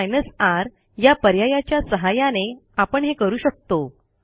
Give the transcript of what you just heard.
पण R या पर्यायाच्या सहाय्याने आपण हे करू शकतो